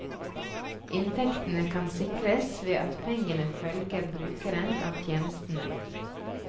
Inntektene kan sikres ved at pengene følger brukeren av tjenestene.